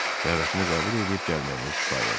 Dəvətimi qəbul eləyib gəlməyiniz kifayətdir.